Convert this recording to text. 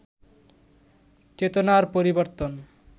চেতনার পরিবর্তন